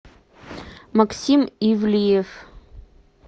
максим ивлиев